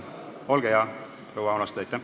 Olge hea, proua Aunaste!